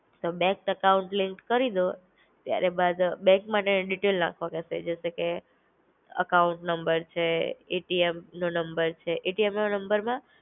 તો bank account link કરીદો. ત્યારે બાદ બેંકમાં ને ડીટેલ નાખવા કેસે જેસેકે, એકાઉન્ટ નંબર છે, એટીએમ નો નંબર છે. એટીએમ ના નંબરમાં